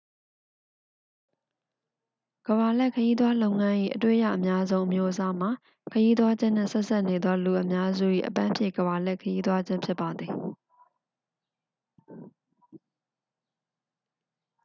ကမ္ဘာလှည့် ခရီးသွားလုပ်ငန်း၏ အတွေ့ရအများဆုံး အမျိုးအစားမှာ ခရီးသွားခြင်းနှင့် ဆက်စပ်နေသော လူအများစု၏ အပန်းဖြေ ကမ္ဘာလှည့်ခရီးသွားခြင်းဖြစ်ပါသည်